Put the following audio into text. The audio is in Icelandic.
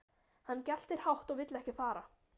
Hann geltir hátt og vill ekki fara.